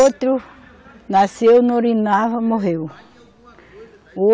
Outro nasceu, não urinava, morreu.